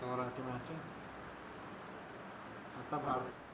दोघांचे म्हणशील फक्त बावीस